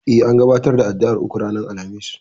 E, an gabatar da addu'ar uku ranar Alhamis.